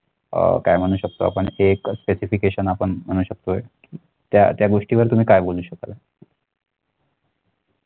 अह काय म्हणू शकतो आपण हे एक specification आपण म्हणू शकतोय त्या त्या गोष्टीवर तुम्ही काय बोलू शकाल?